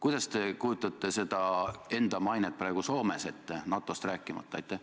Millisena te kujutate enda mainet ette praegu Soomes, NATO-st rääkimata?